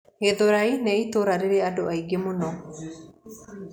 Githũrai nĩ itũũra rĩrĩ andũ aingĩ mũno